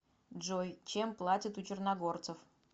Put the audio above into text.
джой чем платят у черногорцев